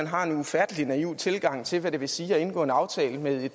har en ufattelig naiv tilgang til hvad det vil sige at indgå en aftale med